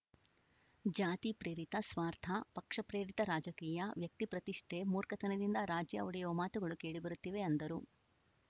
ಜಾತಿ ಪ್ರೇರಿತ ಸ್ವಾರ್ಥ ಪಕ್ಷ ಪ್ರೇರಿತ ರಾಜಕೀಯ ವ್ಯಕ್ತಿ ಪ್ರತಿಷ್ಠೆ ಮೂರ್ಖತನದಿಂದ ರಾಜ್ಯ ಒಡೆಯುವ ಮಾತುಗಳು ಕೇಳಿ ಬರುತ್ತಿವೆ ಅಂದರು